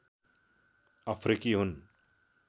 अफ्रिकी हुन्